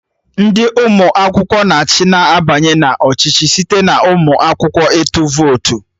Ndị ụmụ akwụkwọ na achị na-abanye na ọchịchị site n'ụmụ akwụkwọ ịtụ votu